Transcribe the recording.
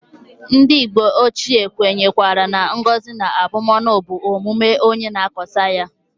Ndi mgbe ochie kwenyekwara na ngozi na abumonu bu omume onye na-akoata ya.